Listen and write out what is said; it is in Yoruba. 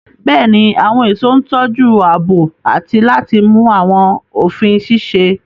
Bẹ́ẹ̀ni, àwọn ẹ̀ṣọ́ ń tọ́jú ààbò àti láti mú àwọn òfin ṣiṣẹ́.